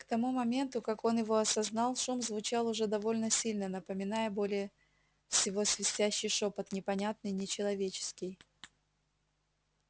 к тому моменту как он его осознал шум звучал уже довольно сильно напоминая более всего свистящий шёпот непонятный нечеловеческий